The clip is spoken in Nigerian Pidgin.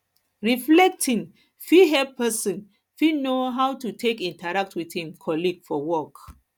reflecting fit help person fit know how to take interact with im colleague for work